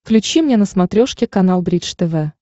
включи мне на смотрешке канал бридж тв